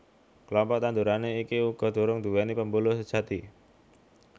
Klompok tanduran iki uga durung nduwèni pembuluh sejati